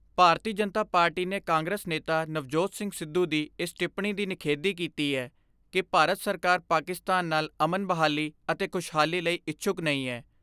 ਭਾਰਤੀ Janata party ਨੇ Congress ਨੇਤਾ ਨਵਜੋਤ ਸਿੰਘ ਸਿੱਧੂ ਦੀ ਇਸ ਟਿੱਪਣੀ ਦੀ ਨਿਖੇਧੀ ਕੀਤੀ ਏ ਕਿ ਭਾਰਤ ਸਰਕਾਰ ਪਾਕਿਸਤਾਨ ਨਾਲ ਅਮਨ ਬਹਾਲੀ ਅਤੇ ਖੁਸ਼ਹਾਲੀ ਲਈ ਇਛੁੱਕ ਨਹੀਂ ਏ।